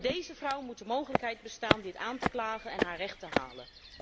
Voor deze vrouw moet de mogelijkheid bestaan dit aan te klagen en haar recht te halen.